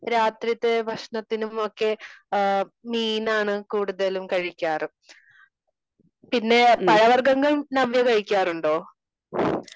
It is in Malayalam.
രാത്രിത്തെ ഭക്ഷണത്തിനുമൊക്കെ മീനാണ് കൂടുതലും കഴിക്കാറ് .പിന്നെ പഴ വർഗങ്ങൾ നവ്യ കഴിക്കാറുണ്ടോ?